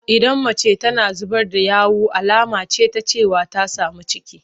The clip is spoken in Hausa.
Idan mace tana zubar da yawu alama ce ta cewa ta sami ciki.